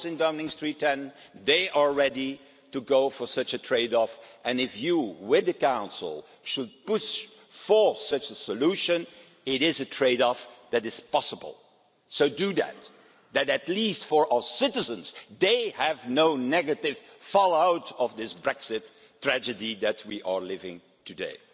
I was in Downing Street, and they are ready to go for such a trade off, and if you, with the Council, were to push for such a solution, it is a trade off that is possible. So do that at least, for our citizens, so that they have no negative fallout from this Brexit tragedy that we are living through today.